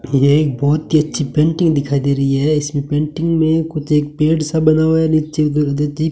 यह एक बहोत ही अच्छी पेंटिंग दिखाई दे रही है इसमें पेंटिंग में कुछ एक पेड़ सा बना हुआ है नीचे --